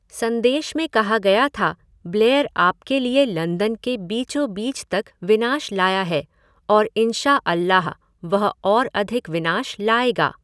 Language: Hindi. संदेश में कहा गया था ब्लेयर आपके लिए लंदन के बीचों बीच तक विनाश लाया है और इंशा अल्लाह, वह और अधिक विनाश लाएगा।